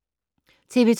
TV 2